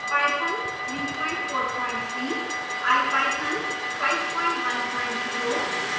python 343